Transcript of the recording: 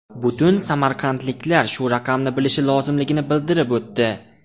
Butun samarqandliklar shu raqamni bilishi lozimligini bildirib o‘tdi.